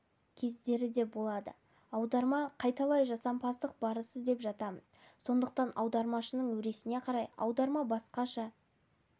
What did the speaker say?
кездері де болады аударма қайталай жасампаздық барысы деп жатамыз сондықтан аудармашының өресіне қарай аударма басқаша